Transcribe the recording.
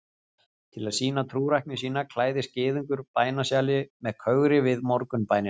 til að sýna trúrækni sína klæðist gyðingur bænasjali með kögri við morgunbænina